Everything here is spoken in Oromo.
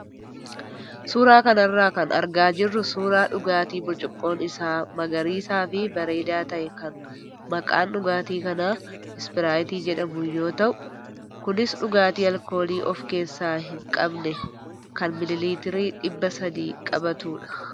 Suuraa kanarra kan argaa jirru suuraa dhugaatii burcuqqoon isaa magariisaa fi bareedaa ta'e kan maqaan dhugaatii kanaa Ispiraayitii jedhamu yoo ta'u, kunis dhugaatii alkoolii of keessaa hin qabne kan miilii liitira dhibba sadii qabatudha.